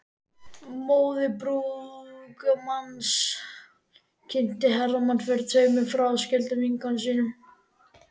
Móðir brúðgumans kynnti Hermann fyrir tveimur fráskildum vinkonum sínum.